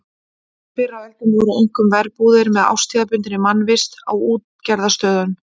Fyrr á öldum voru einkum verbúðir með árstíðabundinni mannvist á útgerðarstöðum.